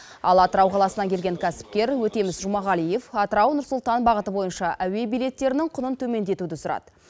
ал атырау қаласынан келген кәсіпкер өтеміс жұмағалиев атырау нұр сұлтан бағыты бойынша әуе билеттерінің құнын төмендетуді сұрады